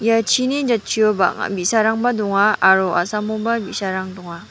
ia chini jatchio bang·a bi·sarangba donga aro a·samoba bi·sarang dong·a.